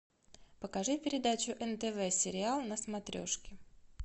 покажи передачу нтв сериал на смотрешке